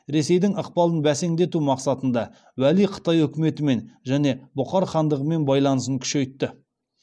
ресейдің ықпалын бәсеңдету мақсатында уәли қытай үкіметімен және бұхар хандығымен байланысын күшейтті